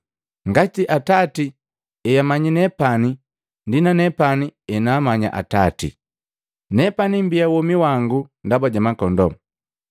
ngati Atati heamanya nepani, ndi nanepani henaamanya Atati. Nepani mbia womi wangu ndaba ja makondoo.